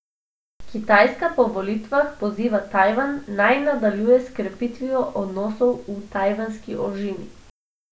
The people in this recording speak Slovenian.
Kitajska po volitvah poziva Tajvan, naj nadaljuje s krepitvijo odnosov v Tajvanski ožini.